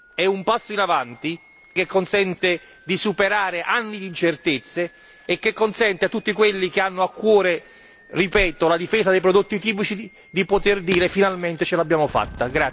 È un passo in avanti che consente di superare anni di incertezze e che consente a tutti quelli che hanno a cuore ripeto la difesa dei prodotti tipici di poter dire finalmente ce l'abbiamo fatta!